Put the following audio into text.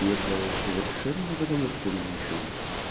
и это совершенно не потому что у меня ничего нет